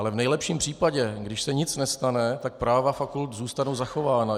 Ale v nejlepším případě, když se nic nestane, tak práva fakult zůstanou zachována.